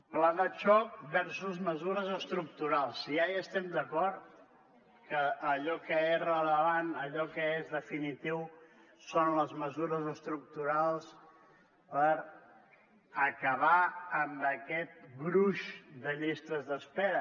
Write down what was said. pla de xoc versus mesures estructurals si ja hi estem d’acord que allò que és rellevant que allò que és definitiu són les mesures estructurals per acabar amb aquest gruix de llistes d’espera